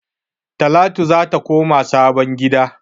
Talatu zata koma sabon gida